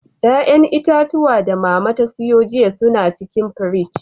Ƴa'ƴan itatuwa da Mama ta siyo jiya su na cikin firji.